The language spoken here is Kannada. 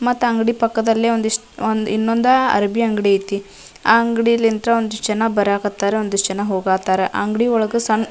ಮತ್ತ ಅಂಗಡಿ ಪಕ್ಕದಲ್ಲಿ ಒಂದಿಷ್ಟು ಒಂದ್ ಇನ್ನೊಂದ್ ಅರಬಿ ಅಂಗಡಿ ಐತಿ ಆಹ್ಹ್ ಅಂಗಡಿಯಲ್ಲಿ ಎಂತರ ಒಂದಿಷ್ಟು ಜನ ಬರಾಕ್ ಹತ್ತರ ಒಂದಿಷ್ಟ್ ಜನ ಹೋಗೋಕ್ ಹತ್ತರ ಆ ಅಂಗಡಿ ಒಳಗ --